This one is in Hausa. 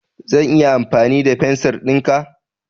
Zan iya amfani da fensir ɗinka?